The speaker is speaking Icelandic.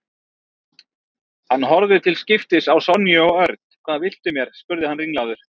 Hann horfði til skiptis á Sonju og Örn. Hvað viltu mér? spurði hann ringlaður.